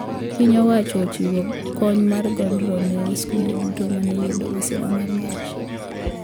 Piny owacho ochiwo konyo mar godhro ne skunde duto mane oyudo masira mar mach